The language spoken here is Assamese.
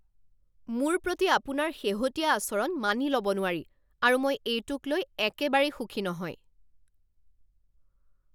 মোৰ প্ৰতি আপোনাৰ শেহতীয়া আচৰণ মানি ল'ব নোৱাৰি আৰু মই এইটোক লৈ একেবাৰেই সুখী নহয়।